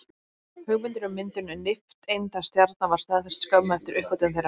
Hugmyndin um myndun nifteindastjarna var staðfest skömmu eftir uppgötvun þeirra.